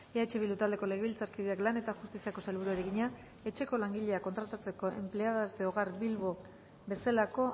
eh bildu taldeko legebiltzarkideak lan eta justiziako sailburuari egina etxeko langileak kontratatzeko empleadas de hogar bilbao bezalako